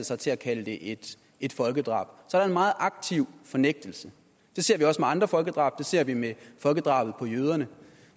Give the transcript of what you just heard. sig til at kalde det et et folkedrab så der er en meget aktiv fornægtelse det ser vi også med andre folkedrab det ser vi med folkedrabet på jøderne